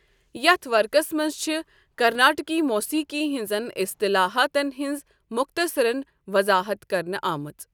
یتھ ورقس منز چھِ كرناٹكی موسیقی ہنزن اسطلاحاتن ہنز موختصرن وضاحت كرنہٕ آمٕژ ۔